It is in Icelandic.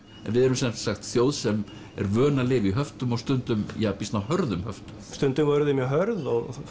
en við erum sem sagt þjóð sem er vön að lifa í höftum og stundum býsna hörðum höftum stundum voru þau mjög hörð og